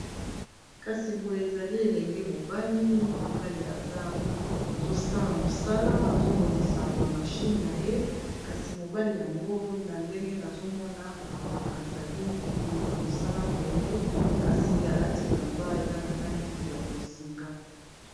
Kasi boye ezali elenge mobali, mobali azosala mosala azobongisa ba machine na ye kasi mobali yango na ndenge nazomona ezali na mosala boye kasi alati elamba eza na langi ya bozinga.